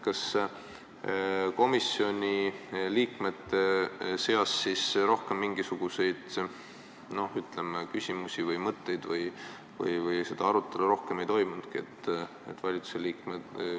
Kas komisjoni liikmete seas rohkem mingisuguseid küsimusi või mõtteid ei olnud, arutelu rohkem ei toimunudki?